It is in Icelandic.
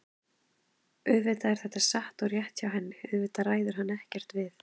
Auðvitað er þetta satt og rétt hjá henni, auðvitað ræður hann ekkert við